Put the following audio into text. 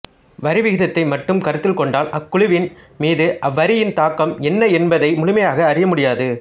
வரிவிகிதத்தை மட்டும் கருத்தில் கொண்டால் அக்குழுவின் மீது அவ்வரியின் தாக்கம் என்ன என்பதை முழுமையாக அறிய முடியாது